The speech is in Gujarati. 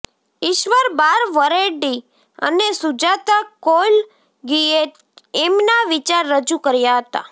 ઈશ્વર બાસવરેડ્ડી અને સુજાતા કૌલગીએ એમનાં વિચાર રજૂ કર્યાં હતાં